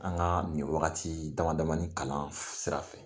An ka nin wagati dama damani kalan sira fɛ